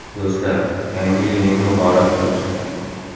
Do‘stlar, yangi yilingiz muborak bo‘lsin!